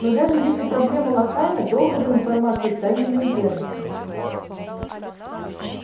но даже если проблема локальна долго вы информацию в тайне не удержите